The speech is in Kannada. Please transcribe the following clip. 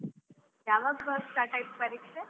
ಯಾವಾಗ start ಆಯ್ತು ಪರೀಕ್ಷೆ?